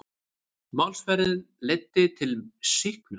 Málsmeðferðin leiddi til sýknu